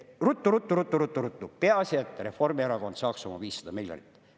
Ruttu-ruttu-ruttu-ruttu-ruttu, peaasi, et Reformierakond saaks oma 500 miljonit.